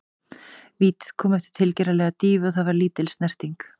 Vítið kom eftir tilgerðarlega dýfu og það var lítil snerting.